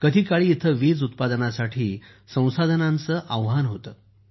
कधीकाळी इथे वीज उत्पादनासाठी संसाधनांचे आव्हान होते